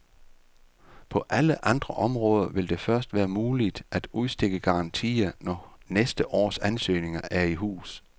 På alle andre områder vil det først være muligt at udstikke garantier, når næste års ansøgninger er i hus.